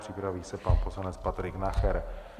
Připraví se pan poslanec Patrik Nacher.